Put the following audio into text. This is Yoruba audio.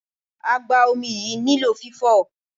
Agba-omi yìí nílò fifo.